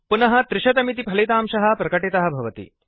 पुनः 300 इति फलितांशः प्रकटितः भवति